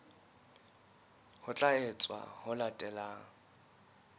ho tla etswa ho latela